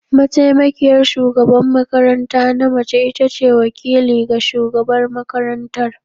Mataimakiyar shugaban makaranta na mace ita ce wakili ga shugabar makarantar.